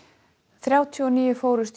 þrjátíu og níu fórust í